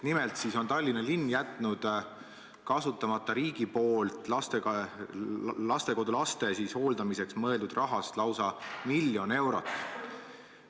Nimelt on Tallinna linn jätnud kasutamata riigi poole lastekodulaste hooldamiseks mõeldud rahast, lausa 1 miljon eurot.